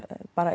bara